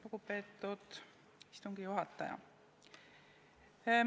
Lugupeetud istungi juhataja!